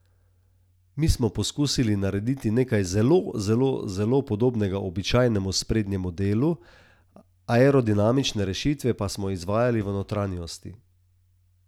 Mi smo poskusili narediti nekaj zelo, zelo, zelo podobnega običajnemu sprednjemu delu, aerodinamične rešitve pa smo izvajali v notranjosti.